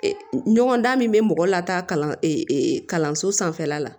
Ɲɔgɔn dan min bɛ mɔgɔ lata kalanso sanfɛla la